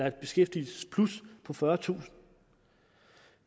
et beskæftigelsesplus på fyrretusind